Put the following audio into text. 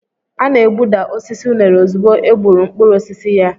A na-egbuda osisi unere ozugbo e gbuuru mkpụrụ osisi ya.